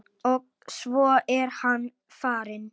Og svo er hann farinn.